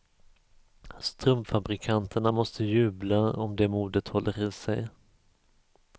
Strumpfabrikanterna måste jubla om det modet håller i sig.